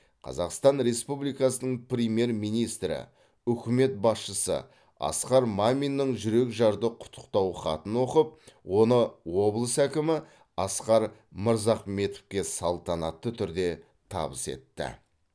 қазақстан республикасының премьер министрі үкімет басшысы асқар маминнің жүрекжарды құттықтау хатын оқып оны облыс әкімі асқар мырзахметовке салтанатты түрде табыс етті